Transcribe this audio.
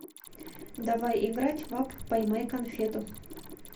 давай играть в апп поймай конфету